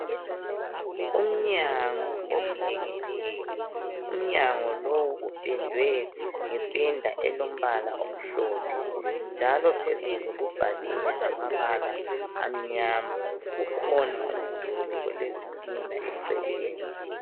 Umnyango ovulekileyo. Umnyango lowu uphendwe ngephenda elombala omhlophe njalo phezulu kubhaliwe ngamabala amnyama. Kukhona umduli olezitina eceleni.